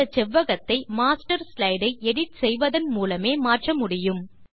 இந்த செவ்வகத்தை master slide ஐ எடிட் செய்வதன் மூலமே மாற்ற முடியும்